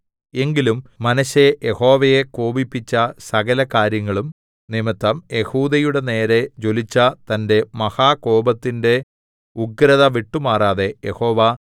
എങ്കിലും മനശ്ശെ യഹോവയെ കോപിപ്പിച്ച സകല കാര്യങ്ങളും നിമിത്തം യെഹൂദയുടെനേരെ ജ്വലിച്ച തന്റെ മഹാകോപത്തിന്റെ ഉഗ്രത വിട്ടുമാറാതെ യഹോവ